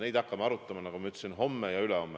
Seda hakkame arutama, nagu ma ütlesin, homme ja ülehomme.